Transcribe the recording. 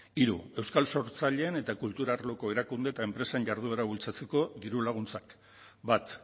hiru euskal sortzaileen eta kultur arloko erakunde eta enpresa jarduera bultzatzeko dirulaguntzak bat